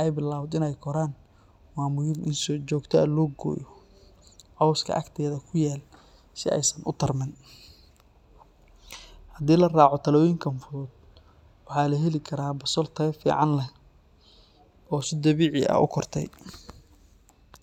ay bilaabato inay koraan, waa muhiim in si joogto ah loo gooyo cawska agteeda ku yaal si aysan u tartamin. Haddii la raaco talooyinkan fudud, waxaa la heli karaa basal tayo fiican leh oo si dabiici ah u kortay.